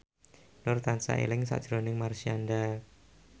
Nur tansah eling sakjroning Marshanda